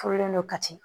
Furulen don kati